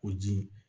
O ji